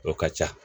O ka ca